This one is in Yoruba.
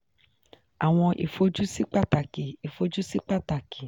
àwọn ìfojúsí pàtàkì ìfojúsí pàtàkì